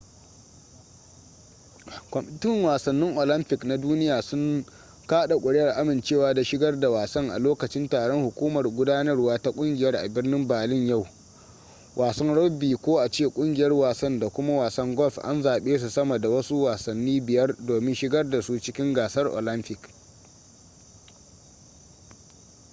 kwamitin wasannin olympic na duniya sun kada kuri'ar amincewa da shigar da wasan a lokacin taron hukumar gudanarwa ta kungiyar a birnin berlin a yau wasan rugby ko a ce kungiyar wasan da kuma wasan golf an zabe su sama da wasu wasannin biyar domin shigar da su cikin gasar olympic